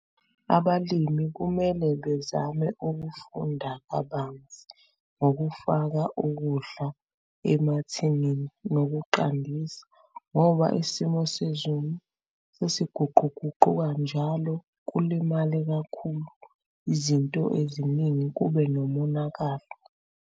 Abalimi kumele bezame ukufunda kabanzi ngokufaka ukudla emathinini nokuqandisa ngoba isimo sezulu sesiguquguquka njalo kulimale kakhulu izinto eziningi kube nomonakalo.